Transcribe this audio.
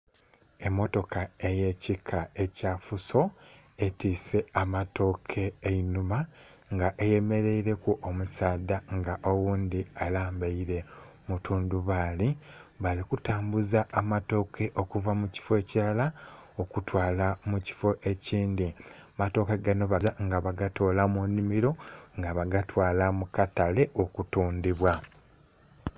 Emotoka eyakika ekya Fuso etwiise amatooke enhuma nga eyemereire ku omusaadha nga oghundhi alambeire mutundubali bali kutambula amatooke okuva mubifo ekirala okutwala mukifo ekindhi. Amatooke gano bagya nga bagatola munhimiro nga bagatwala mukatale okutundibwa